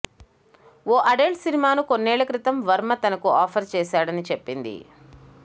ఓ adult సినిమాను కొన్నేళ్ల క్రితం వర్మ తనకు ఆఫర్ చేశాడని చెప్పింది